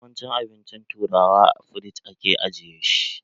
Yawancin abincin turawa, a firiji ake ajiye su.